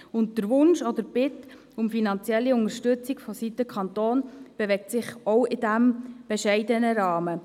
Und der Wunsch oder die Bitte um finanzielle Unterstützung durch den Kanton bewegt sich ebenfalls in diesem bescheidenen Rahmen.